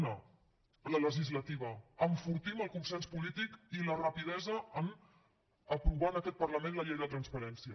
una la legislativa enfortim el consens polític i la rapidesa a aprovar en aquest parlament la llei de la transparència